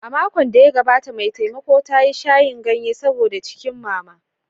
A makon da ya gabata, mai taimakon ta yi shayin ganye saboda jikin Mama.